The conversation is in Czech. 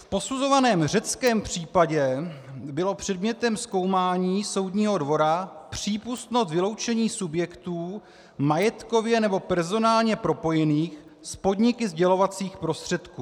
V posuzovaném řeckém případě bylo předmětem zkoumání Soudního dvora přípustno vyloučení subjektů majetkově nebo personálně propojených s podniky sdělovacích prostředků.